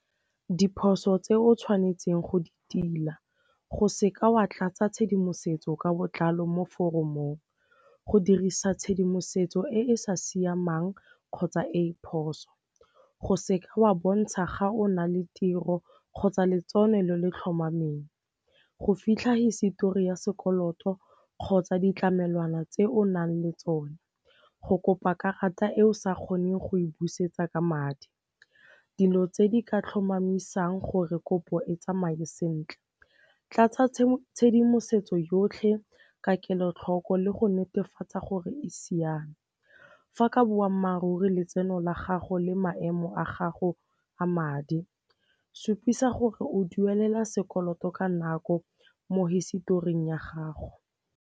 Diphoso tse o tshwanetseng go di tila go seka wa tlatsa tshedimosetso ka botlalo mo foromong, go dirisa tshedimosetso e e sa siamang kgotsa e e phoso, go seka wa bontsha ga o na le tiro kgotsa letseno le le tlhomameng, go fitlha hisetori ya sekoloto kgotsa ditlamelwana tse o nang le tsone, go kopa karata eo sa kgoneng go e busetsa ka madi. Dilo tse di ka tlhomamisang gore kopo e tsamaye sentle, tlatsa tshedimosetso yotlhe ka kelotlhoko le go netefatsa gore e siame. Fa ka boammaaruri letseno la gago le maemo a gago a madi, supisa gore o duelela sekoloto ka nako mo historing ya gago.